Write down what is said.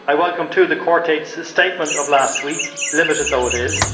I welcome, too, the Quartet's statement of last week, limited though it is.